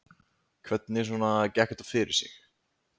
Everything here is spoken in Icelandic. Hvernig svona gekk þetta fyrir sig?